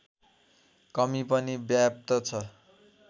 कमी पनि व्याप्त छ